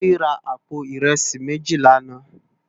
Tobi rá àpó irèsí méjí làná